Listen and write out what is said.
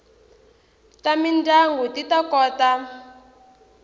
ta mindyangu ti ta kota